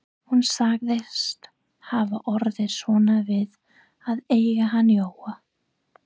Hún sagðist hafa orðið svona við að eiga hann Jóa.